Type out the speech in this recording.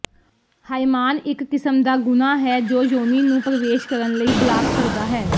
ਹਾਇਮਾਨ ਇੱਕ ਕਿਸਮ ਦਾ ਗੁਣਾ ਹੈ ਜੋ ਯੋਨੀ ਨੂੰ ਪ੍ਰਵੇਸ਼ ਕਰਨ ਲਈ ਬਲਾਕ ਕਰਦਾ ਹੈ